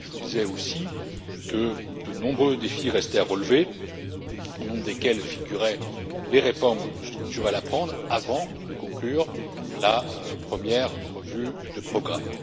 Je vous disais aussi que de nombreux défis restaient à relever, au nombre desquels figuraient les réformes structurelles à prendre avant de conclure la première revue du programme.